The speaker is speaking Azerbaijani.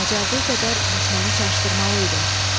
Bacardığı qədər düşməni çaşdırmalı idi.